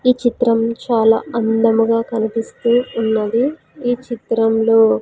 ఈ చిత్రం చాలా అందముగా కనిపిస్తూ ఉన్నది ఈ చిత్రంలో--